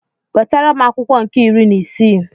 Wetara m akwụkwọ nke iri n'isii.